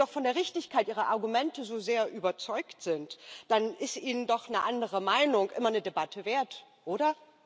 Wenn Sie doch von der Richtigkeit Ihrer Argumente so sehr überzeugt sind, dann ist Ihnen doch eine andere Meinung immer eine Debatte wert, oder?